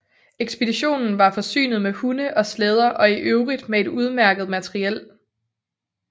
Ekspeditionen var forsynet med hunde og slæder og i øvrigt med et udmærket materiel